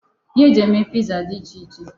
Ihe e ji eme piza dị iche iche.